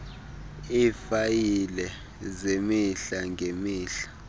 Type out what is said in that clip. iifayile zemihla ngemihla